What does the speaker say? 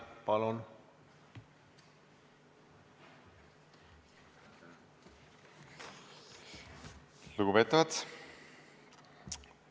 Lugupeetavad!